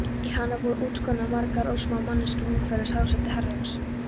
Í hana voru útskornar margar örsmáar manneskjur umhverfis hásæti Herrans.